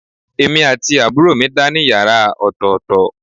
Èmi àti àbúrò mi dá ní yàrá ọ̀tọ̀ọ̀tọ̀